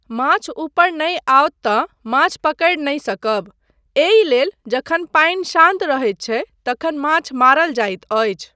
माछ उपर नहि आओत तँ माछ पकड़ि नहि सकब, एहि लेल जखन पानि शान्त रहैत छै तखन माछ मारल जाइत अछि।